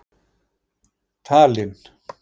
Tallinn